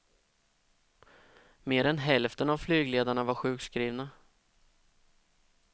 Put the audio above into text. Mer än hälften av flygledarna var sjukskrivna.